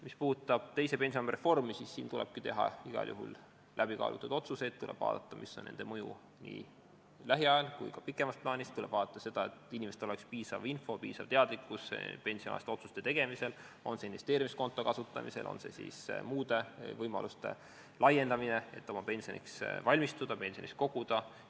Mis puudutab teise pensionisamba reformi, siis siin tuleb teha igal juhul läbikaalutud otsuseid, tuleb vaadata, mis on nende mõju nii lähiajal kui ka pikemas plaanis, tuleb vaadata, et inimestel oleks piisavalt infot, piisavalt teadlikkust pensionialaste otsuste tegemisel ja kas siis investeerimiskonto kasutamise või muude võimaluste kasutamise kohta, et pensioniks valmistuda, pensioniraha koguda.